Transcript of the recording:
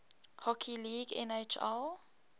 hockey league nhl